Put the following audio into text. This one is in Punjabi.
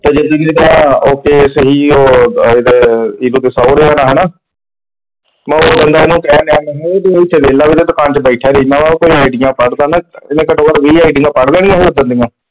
ਚਲ ਜਿੰਦਗੀ ਓਕੇ ਸਹੀ ਉਹ ਇਹਦੇ ਸਹੁਰਿਆਂ ਦਾ ਹੈਨਾ, ਮੈਂ ਉਸ ਦਿਨ ਦਾ ਉਹਨੂੰ ਕਹਿਣ ਡਿਯਾ ਸੀਗਾ, ਮੈਂ ਕਿਹਾ ਤੂੰ ਵਿਹਲਾ ਵਿਹਲਾ ਦੁਕਾਨ ਚ ਬੈਠਾ ਰਹਿੰਦਾ ਵਾ ਉਹ ਕੋਈ ਹੁੰਦਾ ਆ, ਇਹਨੇ ਘਟੋ ਘਟ ਵੀਹ ਪੜ੍ਹ ਲਏ ਸੀਗੇ ,